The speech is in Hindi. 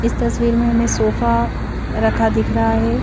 इस तस्वीर में हमें सोफा रखा दिख रहा है।